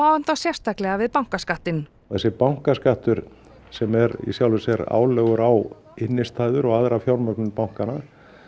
hann þá sérstaklega við bankaskattinn þessi bankaskattur sem er í sjálfu sér álögur á innistæður og aðra fjármögnun bankanna